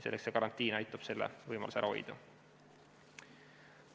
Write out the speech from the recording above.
Karantiin aitab selle võimaluse ära hoida.